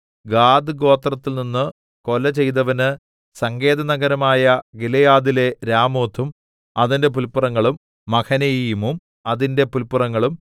ഗാദ്ഗോത്രത്തിൽനിന്നു കൊല ചെയ്തവന് സങ്കേതനഗരമായ ഗിലെയാദിലെ രാമോത്തും അതിന്റെ പുല്പുറങ്ങളും മഹനയീമും അതിന്റെ പുല്പുറങ്ങളും